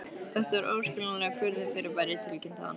Þetta er óskiljanlegt furðufyrirbæri tilkynnti hann.